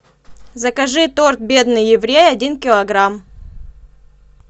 закажи торт бедный еврей один килограмм